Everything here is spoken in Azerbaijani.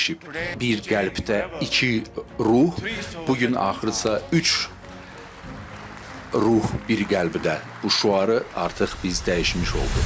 Bir qəlbdə iki ruh bu gün axırsa üç ruh bir qəlbdə, bu şüarı artıq biz dəyişmiş olduq.